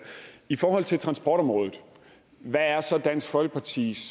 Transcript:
i forhold til transportområdet hvad er så dansk folkepartis